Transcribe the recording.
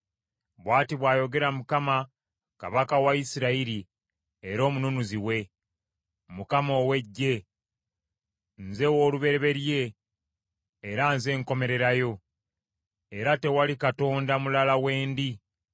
“Bw’ati bw’ayogera Mukama kabaka wa Isirayiri era Omununuzi we, Mukama Katonda ow’Eggye: Nze w’olubereberye era nze nkomererayo era tewali Katonda mulala we ndi.